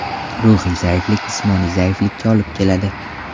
Ruhiy zaiflik jismoniy zaiflikka olib keladi.